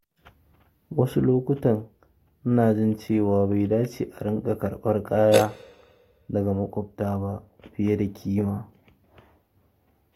Wasu lokuta ina jin cewa bai dace a riƙa karɓar kaya daga maƙwabta ba fiye da kima.